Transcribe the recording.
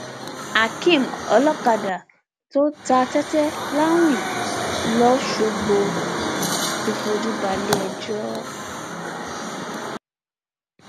akéem olókàdá tó ta tẹtẹ láwìn lọsgbọ ti fojú balẹẹjọ